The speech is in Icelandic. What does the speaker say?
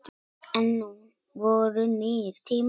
En nú voru nýir tímar.